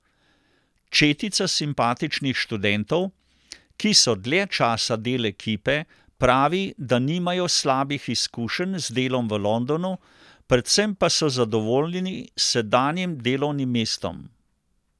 Četica simpatičnih študentov, ki so dlje časa del ekipe, pravi, da nimajo slabih izkušenj z delom v Londonu, predvsem pa so zadovoljni s sedanjim delovnim mestom.